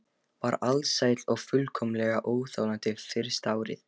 Var alsæl og fullkomlega óþolandi fyrsta árið.